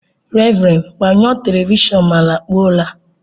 Raven, gbanyụọ Television ma lakpuo ụra!